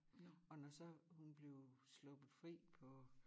Og når så hun blev sluppet fri på